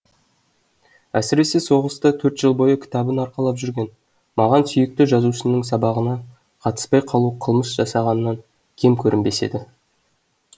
әсіресе соғыста төрт жыл бойы кітабын арқалап жүрген маған сүйікті жазушының сабағына қатыспай қалу қылмыс жасағаннан кем көрінбес еді